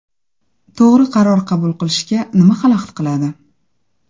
To‘g‘ri qaror qabul qilishga nima xalaqit qiladi?